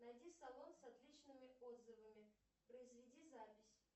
найди салон с отличными отзывами произведи запись